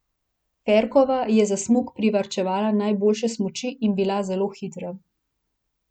Ferkova je za smuk privarčevala najboljše smuči in bila zelo hitra.